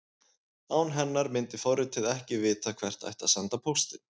Án hennar myndi forritið ekki vita hvert ætti að senda póstinn.